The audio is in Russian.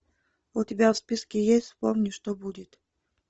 у тебя в списке есть вспомни что будет